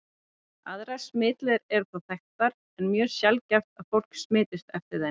Aðrar smitleiðir eru þó þekktar, en mjög sjaldgæft er að fólk smitist eftir þeim.